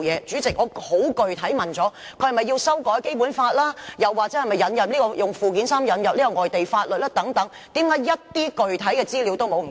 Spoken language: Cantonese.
主席，我已十分具體地提問了，他是否要修改《基本法》或透過附件三引入外地法律等，為何一些具體資料也沒有？